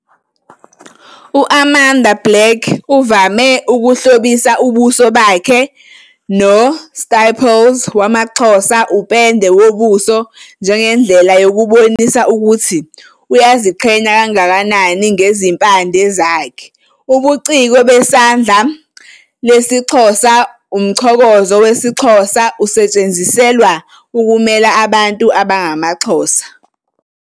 UAmanda Black uvame ukuhlobisa ubuso bakhe noStipples wamaXhosa upende wobuso njengendlela yokubonisa ukuthi uyaziqhenya kangakanani ngezimpande zakhe. "Ubuciko besandla lesiXhosa - umchokozo wesiXhosa - usetshenziselwa ukumela abantu abangamaXhosa.